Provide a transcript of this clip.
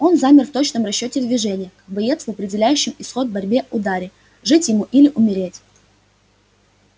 он замер в точном расчёте движения как боец в определяющем исход борьбы ударе жить ему или умереть